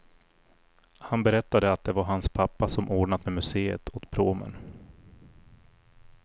Han berättade att det var hans pappa som ordnat med museet åt pråmen.